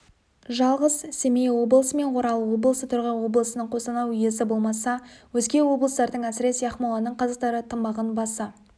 жалғыз семей облысы мен орал облысы торғай облысының қостанай уезі болмаса өзге облыстардың әсіресе ақмоланың қазақтары тымағын баса